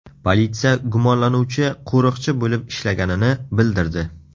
Politsiya gumonlanuvchi qo‘riqchi bo‘lib ishlaganini bildirdi.